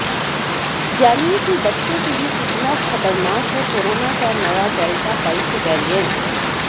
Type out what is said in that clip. जानिए बच्चों के लिए कितना खतरनाक है कोरोना का नया डेल्टा पल्स वैरिएंट